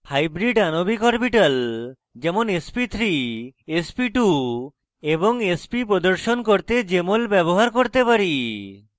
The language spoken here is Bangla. হাইব্রিড আণবিক অরবিটাল যেমন sp3 sp2 এবং sp প্রদর্শন করতে jmol ব্যবহার করতে পারি